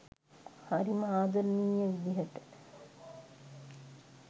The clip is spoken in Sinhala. හරිම ආදරණීය විදිහට